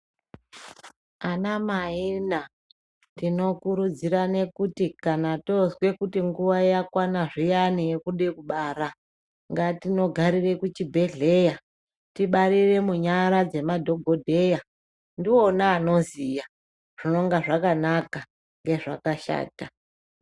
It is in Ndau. Anamaina tinokurudzirane kuti kana tonzwe nguva yakwana zviyani yekude kubara ngatinogarire kuchibhehleya tibarire munyara dzemadhokodheya ndiona anoziya zvinoga zvakanaka ngezvakashata.